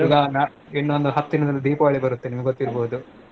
ಈಗ ನಾಡ್~ ಇನ್ನೊಂದ್ ಹತ್ ದಿನದಲ್ Deepavali ಬರುತ್ತೆ ನಿಮಗ್ ಗೊತ್ತಿರ್ಬೌದು.